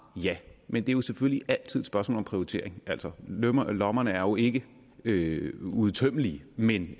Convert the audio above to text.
ja men det er jo selvfølgelig altid et spørgsmål om prioritering altså lommerne lommerne er jo ikke ikke uudtømmelige men